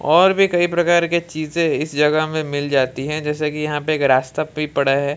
और भी कई प्रकार की चीजें इस जगह में मिल जाती है जैसा कि यहां पे एक रास्ता भी पड़ा है।